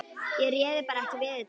Ég réði bara ekki við þetta.